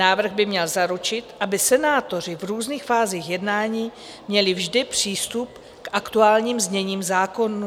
Návrh by měl zaručit, aby senátoři v různých fázích jednání měli vždy přístup k aktuálním zněním zákonů.